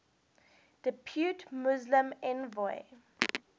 depute muslim envoy